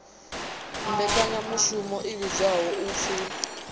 mmbekanyamushumo i vhidzwaho u p